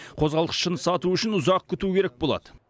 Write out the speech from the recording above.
қозғалтқышын сату үшін ұзақ күту керек болады